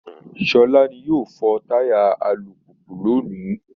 Sọlá ni yóò fọ táyà alùpùpù lónìí